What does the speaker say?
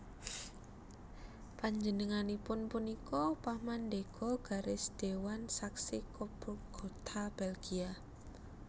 Panjenenganipun punika pamandhéga garis Dewan Saxe Coburg Gotha Belgia